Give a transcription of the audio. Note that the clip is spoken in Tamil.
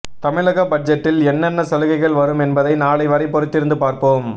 தமிழக பட்ஜெட்டில் என்னென்ன சலுகைகள் வரும் என்பதை நாளை வரை பொறுத்திருந்து பார்ப்போம்